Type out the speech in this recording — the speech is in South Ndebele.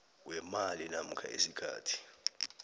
weemali namkha isikhathi